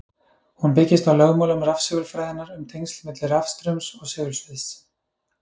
Hún byggist á lögmálum rafsegulfræðinnar um tengsl milli rafstraums og segulsviðs.